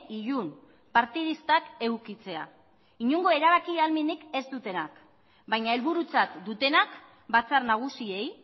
ilun partidistak edukitzea inongo erabaki ahalmenik ez dutenak baina helburutzat dutenak batzar nagusiei